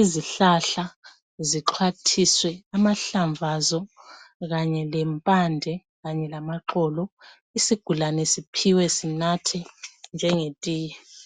izihlahla zixhwathiswe amahlamvu azo kanye lempande kanye lamaxolo isigulane siphiwe sinathe njengetiye.